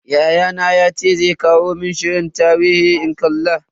Yayana yace zai kawo mun shirin tarihi in kalla.